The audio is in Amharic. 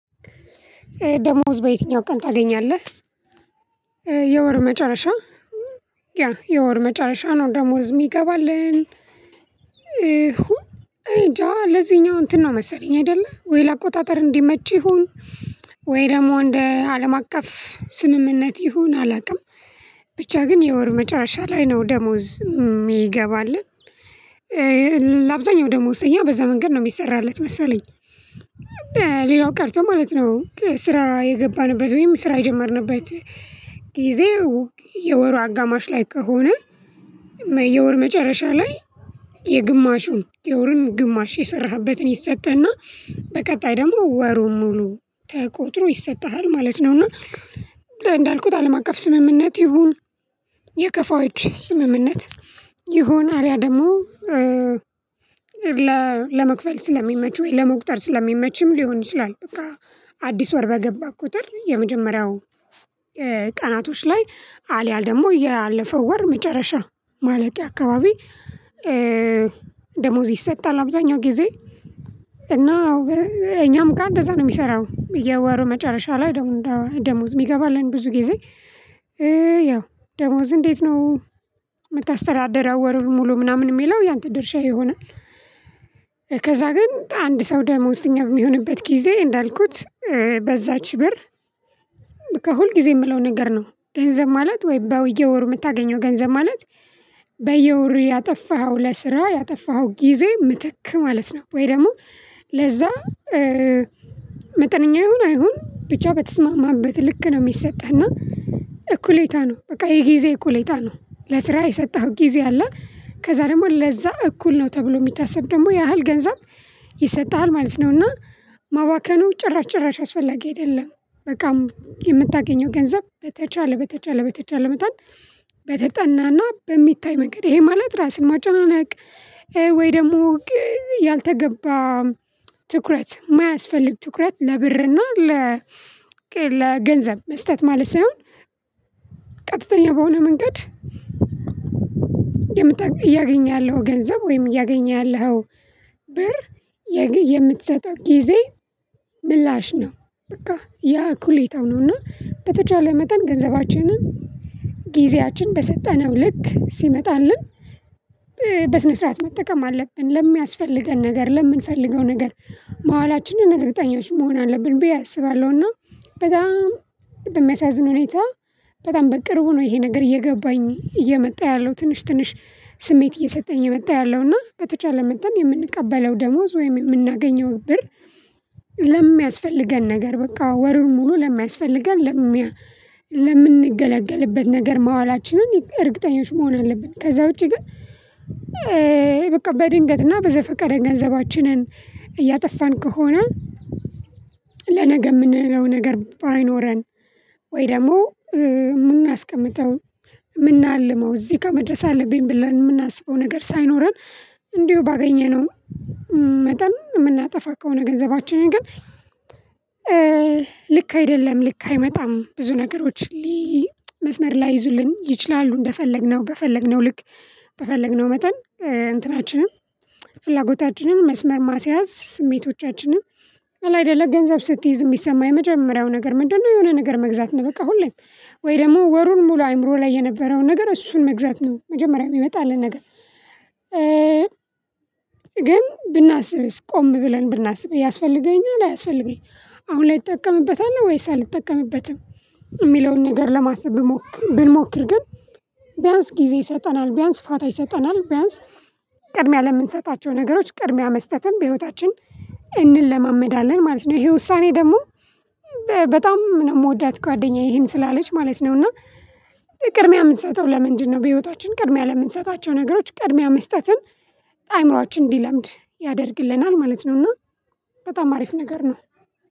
ደሞዝ በየትኛው ቀን ታገኛለህ? የወር መጨረሻ ያ የወር መጨረሻ ነው ደሞዝ ሚገባልን። እሁ እኔ ጃ ለዚኛው እንትን ነው መሰለኝ አይደለ ወይ ለአቆጣጠር እንዲመች ይሁን? ወይ ደግሞ እንደ አለም አቀፍ ስምምነት ይሁን አላውቅም። ብቻ ግን የወር መጫሻ ላይ ነው ደሞዝ ሚገባልን። ደሞዝተኛ በዛ መንገድ ነው የሚሰራለት መሰለኝ። ሌላው ቀርቶ ማለት ነው ስራ የገባንበት ወይም ስራ የጀመርንበት ጊዜው የወሩ አጋማሽ ላይ ከሆነ። የወር መጨረሻ ላይ የግማሹን የወሩን ግማሽ የሰራህበትን ይሰጠህና በቀጣይ ደግሞ ወሩን ሙሉ ተቆጥሮ ይሰጥሃል ማለት ነውና። እንዳልኩት አለም አቀፍ ስምምነት ይሁን። የከፋዎች ስምምነት ይሁን አሊያ ደግሞ ለመክፈል ስለሚመች ወይ ለመቁጠር ስለሚመችም ሊሆን ይችላል። በቃ አዲስ ወር በገባ ቁጥር የመጀመሪያው ቀናቶች ላይ አልያል ደግሞ ያለፈው ወር መጨረሻ ማለት አካባቢ። ደሞዝ ይሰጣል አብዛኛው ጊዜ። እና እኛም ጋር እንደዛ ነው የሚሰራው የወሩ መጨረሻ ላይ ደግሞ ደሞዝ የሚገባልን ብዙ ጊዜ። ያው ደሞዝ እንዴት ነው? ምታስተዳደረው ወሩን ሙሉ ምናምን ሚለው ያንተ ድርሻ ይሆናል። ከዛ ግን አንድ ሰው ደሞዝተኛ በሚሆንበት ጊዜ እንዳልኩት በዛች ብር። ከሁል ጊዜ ምለው ነገር ነው ገንዘብ ማለት ወይ በየወሩ የምታገኘው ገንዘብ ማለት። በየወሩ ያጠፋኸው ለስራ ያጠፋኸው ጊዜ ምትክ ማለት ነው ወይ ደግሞ ለዛ መጠነኛ ይሁን አይሁን ብቻ በተስማማህበት ልክ ነው። ሚሰጠህ እና እኩሌታ ነው በቃ የጊዜ እኩሌታ ነው ለስራ የሰጠኸው ጊዜ አለ ከዛ ደግሞ ለዛ እኩል ነው ተብሎ ሚታሰብ ደግሞ ያህል ገንዘብ ይሰጥሃል ማለት ነው። እና ማባከኑ ጭራሽ ጭራሽ አስፈላጊ አይደለም። በቃ የምታገኘው ገንዘብ በተቻለ በተቻለ በተቻለ መጠን በተጠናና በሚታይ መንገድ ይሄ ማለት ራስን ማጨናነቅ ወይ ደግሞ ያልተገባ ትኩረት ማያስፈልግ ትኩረት ለብርና ለገንዘብ መስጠት ማለት ሳይሆን ቀጥተኛ በሆነ መንገድ። እያገኘህ ያለው ገንዘብ ወይም እያገኘህ ያለኸው ብር የምትሰጠው ጊዜ ምላሽ ነው። በቃ ያ እኩሌታው ነውና በተቻለ መጠን ገንዘባችንን ጊዜያችን በሰጠነው ልክ ሲመጣልን። በስነ ስርዓት መጠቀም አለብን ለሚያስፈልገን ነገር ለምንፈልገው ነገር ማዋላችንን እርግጠኛዎች መሆን አለብን ብዬ አስባለሁና። በጣም በሚያሳዝን ሁኔታ በጣም በቅርቡ ነው ይሄ ነገር እየገባኝ እየመጣ ያለው ትንሽ ትንሽ ስሜት እየሰጠኝ የመጣ ያለው እና በተቻለ መጠን የምንቀበለው ደሞዝ ወይም የምናገኘው ብር። ለሚያስፈልገን ነገር በቃ ወሩን ሙሉ ለማያስፈልገን ለምንገላገልበት ነገር ማዋላችንን እርግጠኞች መሆን አለብን። ከዛ ውጪ ግን። በቃ በድንገትና በዘፈቀደ ገንዘባችንን እያጠፋን ከሆነ። ለነገ የምንለው ነገር ባይኖረን ወይ ደግሞ ምናስቀምጠው ምናልመው እዚህ ጋር መድረስ አለብኝ ብለን ምናስበው ነገር ሳይኖረን። እንዲሁ ባገኘነው መጠን ምናጠፋ ከሆነ ገንዘባችንን ግን። ልክ አይደለም ልክ አይመጣም ብዙ ነገሮች። መስመር ላይዙልን ይችላሉ እንደፈለግነው በፈለግነው ልክ በፈለግነው መጠን እንትናችንም ፍላጎታችንን መስመር ማስያዝ ስሜቶቻችንን አይደለ ገንዘብ ስትይዝ ሚሰማ የመጀመሪያው ነገር ምንድነው? የሆነ ነገር መግዛት ነው። በቃ ሁሌም ወይ ደግሞ ወሩን ሙሉ አይምሮ ላይ የነበረውን ነገር እሱን መግዛት ነው መጀመሪያ የሚመጣልን ነገር። ግን ብናስብስ ቆም ብለን ብናስብ ያስፈልገኛል አያስፈልገኝም? አሁን ላይ እጠቀምበታለሁ ወይስ አልጠቀምበትም? የሚለውን ነገር ለማሰብ ብንሞክር ግን ቢያንስ ጊዜ ይሰጠናል ቢያንስ ፋታ ይሰጠናል ቢያንስ ቅድሚያ ለምንሰጣቸው ነገሮች ቅድሚያ መስጠትን በህይወታችን እንለማመዳለን ማለት ነው። ይሄ ውሳኔ ደግሞ በጣም የምወዳት ጓደኛዬ ይሄን ስላለች ማለት ነው። እና ቅድሚያ ምንሰጠው ለምንድነው? በህይወታችን ቅድሚያ ለምንሰጣቸው ነገሮች ቅድሚያ መስጠትን አእምሮአችን እንዲለምድ ያደርግልናል ማለት ነውና። በጣም አሪፍ ነገር ነው።